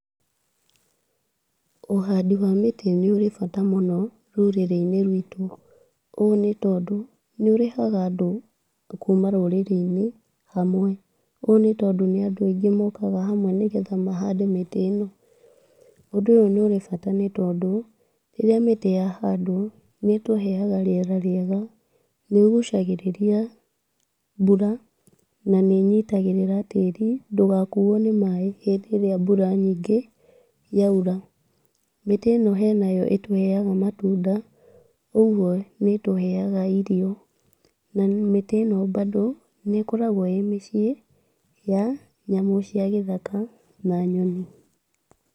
Ũhandi wa mĩtĩ nĩ ũrĩ bata mũno rũrĩrĩ-inĩ rwitũ, ũũ nĩ tondũ nĩ ũrehaga andũ kuma rũrĩrĩ-inĩ hamwe, ũũ nĩ tondũ nĩ andũ aingĩ mokaga hamwe, nĩgetha mahande mĩtĩ ĩno, ũndũ ũyũ nĩ ũrĩ bata, nĩ tondũ rĩrĩa mĩtĩ ya handwo nĩ ĩtũheaga rĩera rĩega, nĩ ũgucagĩrĩria mbura na nĩ ĩnyitagĩrĩra tĩri ndũgakuo nĩ maaĩ hĩndĩ ĩrĩa mbura nyingĩ yaura, mĩtĩ ĩno henayo ĩtũheaga matunda, ũguo nĩ ĩtũheaga irio, na mĩtĩ ĩno bado nĩ ĩkoragwo ĩ mĩciĩ ya nyamũ cia gĩthaka na nyoni.